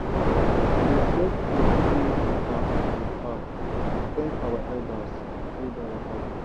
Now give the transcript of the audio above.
we dey share food wey we pack from farm to thank our elders wey don waka go.